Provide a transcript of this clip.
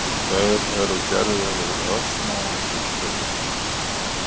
Þeir eru gerðir úr örsmáum kristöllum.